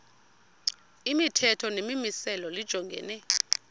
imithetho nemimiselo lijongene